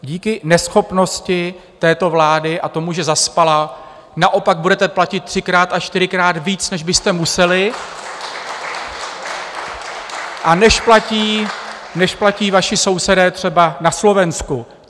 Díky neschopnosti této vlády a tomu, že zaspala, naopak budete platit třikrát až čtyřikrát víc, než byste museli a než platí vaši sousedé třeba na Slovensku.